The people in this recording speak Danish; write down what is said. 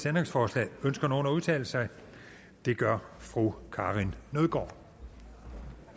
ændringsforslag ønsker nogen at udtale sig det gør fru karin nødgaard